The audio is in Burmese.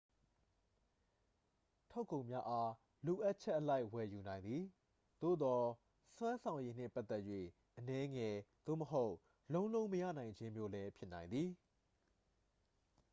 ထုတ်ကုန်များအား လိုအပ်ချက်အလိုက် ဝယ်ယူနိုင်သည် သို့သော် စွမ်းဆောင်ရည်နှင့်ပတ်သက်၍ အနည်းငယ်သို့မဟုတ် လုံးလုံးမရနိုင်ခြင်းမျိုးလည်း ဖြစ်နိုင်သည်